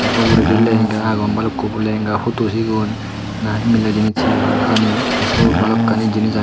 the uguredi lehenga agon bhalukkun lehenga photo sigun nahi mile jinich he hon hijeni the sut bhalukkani jinich agey.